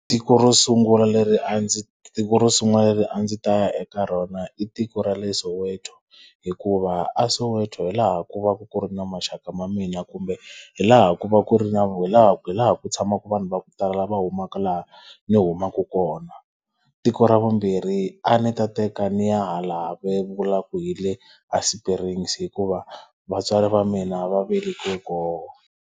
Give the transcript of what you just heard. Tiko ro sungula leri a ndzi tiko ro sungula leri a ndzi ta ya eka rona i tiko ra le Soweto, hikuva a Soweto hi laha ku va ku ku ri na maxaka ya mina kumbe hi laha ku va ku ri na hi laha hi laha ku tshamaka vanhu va ku tala lava humaka laha ni humaka kona. Tiko ra vumbirhi a ni ta teka ni ya hala va vulaka ku hi le a Springs hikuva vatswari va mina va velekiwe kona.